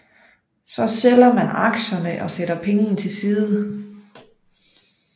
Så sælger man aktierne og sætter pengene til side